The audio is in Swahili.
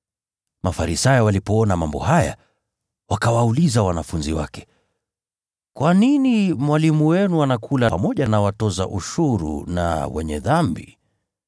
Mafarisayo walipoona mambo haya, wakawauliza wanafunzi wake, “Kwa nini Mwalimu wenu anakula pamoja na watoza ushuru na ‘wenye dhambi’?”